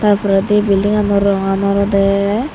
tar poredi building gano rongan olode.